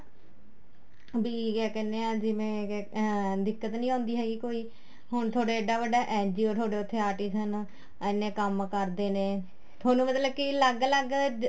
ਵੀ ਕਿਆ ਕਹਿਣੇ ਆ ਜਿਵੇਂ ਅਹ ਦਿੱਕਤ ਨਹੀਂ ਆਉਦੀ ਹੈਗੀ ਕੋਈ ਹੁਣ ਤੁਹਾਡੇ ਐਡਾ ਵੱਡਾ NGO ਤੁਹਾਡੇ ਉੱਥੇ artist ਹਨ ਐਨੇ ਕੰਮ ਕਰਦੇ ਨੇ ਤੁਹਾਨੂੰ ਮਤਲਬ ਕੀ ਅਲੱਗ ਅਲੱਗ